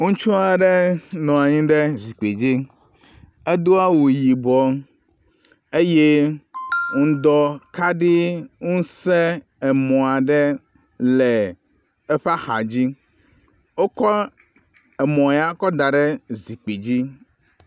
Ŋutsu aɖe nɔ anyi ɖe zikpui dzi. Edo awu yibɔ eye ŋdɔ kaɖi ŋusẽ emɔ aɖe le eƒe axadzi. Wokɔ emɔ ya kɔ da ɖe zikpui dzi.